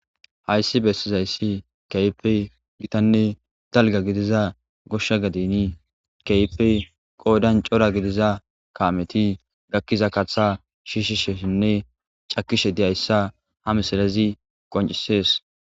Hayssi bessizayssi kaype gitanne dalga gidiza goshsha gadini kaype qoodan cora gidiza kaameti gakkiza katha shiishisheshinne cakishe diyayssa ha misalazi qoncisees.